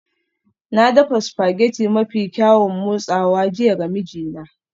Na dafa spaghetti mafi kyaun motsawa jiya ga mijina